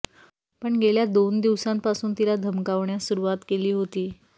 पण गेल्या दोन दिवसांपासून तिला धमकावण्यास सुरुवात केली होती